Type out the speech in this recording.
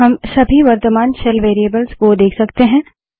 हम सभी वर्त्तमान शेल वेरिएबल्स को देख सकते हैं